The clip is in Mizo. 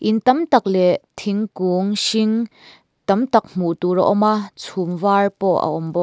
in tam tak leh thingkûng hring tam tak hmuh tûr a awm a chhûm vâr pawh a awm bawk.